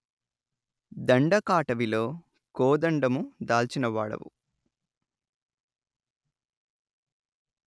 దండకాటవిలో కోదండము దాల్చినవాడవు